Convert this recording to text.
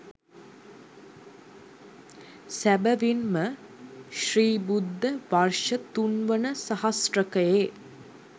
සැබැවින් ම ශ්‍රී බුද්ධ වර්ෂ තුන්වන සහස්‍රකයේ